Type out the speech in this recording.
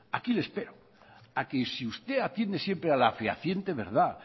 aquí le espero a que si usted atiende siempre a la fehaciente verdad